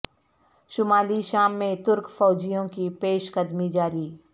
شمالی شام میں ترک فوجیوں کی پیش قدمی جاری